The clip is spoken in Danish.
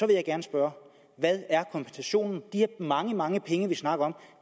vil jeg gerne spørge hvad er kompensationen de mange mange penge vi snakker om